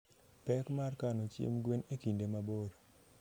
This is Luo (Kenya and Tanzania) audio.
Pek mar kano chiemb gwen e kinde mabor